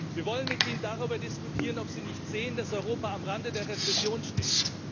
Wir wollen mit ihnen darüber diskutieren, ob sie nicht sehen, dass Europa am Rande der Rezession steht.